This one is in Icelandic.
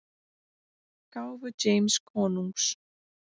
gáfu James konungs.